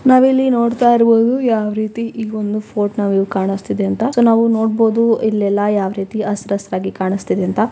ನಾವ್ ಇಲ್ಲಿ ನೋಡ್ತಾಯಿರುವುದು ಯಾವ ರೀತಿ ಈ ಒಂದು ಫೋರ್ಟ್ ನಾ ವ್ಯೂ ಕಾಣಿಸ್ತಿದೆ ಅಂತಾ. ಸೊ ನಾವು ನೋಡಬಹುದು ಇಲ್ಲೆಲ್ಲಾ ಯಾವ್ ರೀತಿ ಅಸ್ರಸ್ತಾಗಿ ಕಾಣಸ್ತಿದೆ ಅಂತಾ.